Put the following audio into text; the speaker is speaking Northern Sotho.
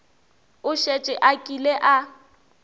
o šetše a kile a